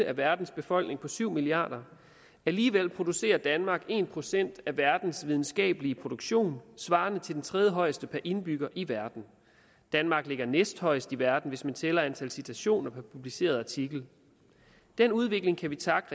af verdens befolkning på syv milliarder alligevel producerer danmark en procent af verdens videnskabelige produktion svarende til den tredjehøjeste per indbygger i verden danmark ligger næsthøjst i verden hvis man tæller antal citationer per publiceret artikel den udvikling kan vi takke